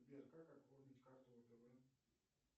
сбер как оформить карту втб